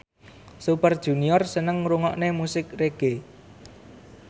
Super Junior seneng ngrungokne musik reggae